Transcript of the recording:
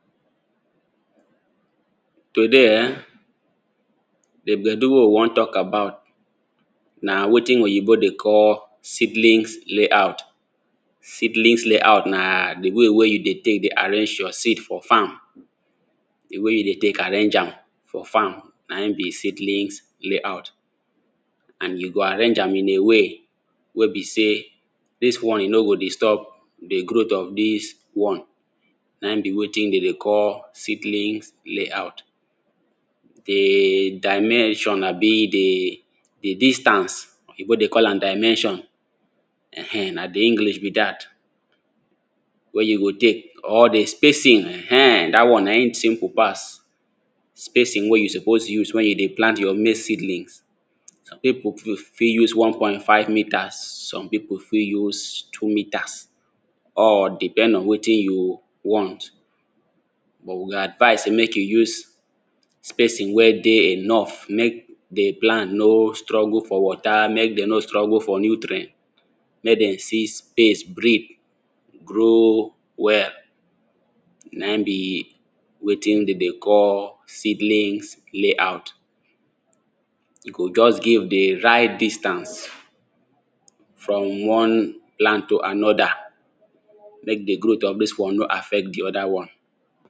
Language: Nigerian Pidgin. Today [urn] di bedu wey we wan talk about na wetin oyibo dey call seedlings layout. Seedlings layout na di way wey you take dey arrange your seeds for farm di way you dey take arrange am for farm naim be seedlings layout and you go arrange am in a way wey be sey dis one e no go disturb di growth of dis one naim be wetin dem dey call seedlings layout. Di dimension abi di distance oyibo dey call am dimension na di English be dat, wey you go take or di spacing [urn] dat one naim simple pass, spacing wey you suppose use wen you dey plant your maze seedling some pipu fit use one point five meters some pipu fit use two meters or depend on wetin you want but we go advice say make you use wey dey enough make di plant no struggle for water make dem no struggle for nutrient, make dem see space breath grow well naim be wetin dem dey call seedlings layout, you go just give di right distance from one land to another make di growth of dis one no affect di other one.